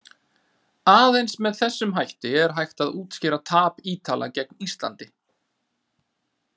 Aðeins með þessum hætti er hægt að útskýra tap Ítala gegn Íslandi.